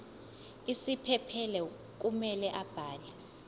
isiphephelo kumele abhale